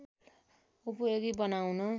उपयोगी बनाउन